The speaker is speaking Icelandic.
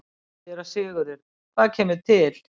SÉRA SIGURÐUR: Hvað kemur til?